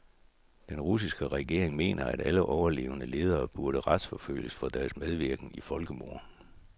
Den russiske regering mener, at alle overlevende ledere burde retsforfølges for deres medvirken i folkemord.